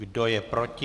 Kdo je proti?